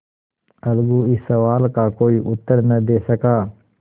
अलगू इस सवाल का कोई उत्तर न दे सका